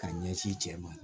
Ka ɲɛsin cɛ ma